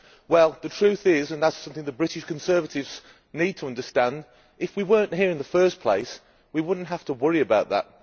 Well, the truth is and this is something the British Conservatives need to understand that if we were not here in the first place, we would not have to worry about that.